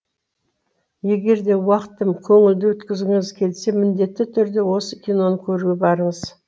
егер де уақытым көңілді өткізгіңіз келсе міндетті түрде осы киноны көруге барыңыз